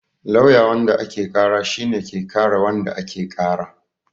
Lawyer wanda ake ƙara shi ne ke kare wanda ake ƙara